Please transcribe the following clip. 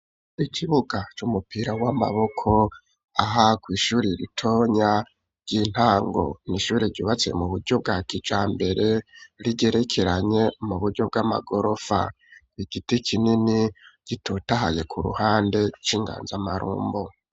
Ikibuga, c'umupira w'amaboko, aha kw'ishure ritonya, ry'intango; ni ishure ryubatse, mu buryo bwa kijambere, rigerekeranye, mu buryo bw'amagorofa; igiti kinini, gitotahaye, ku ruhande, c'inganzamarumbo.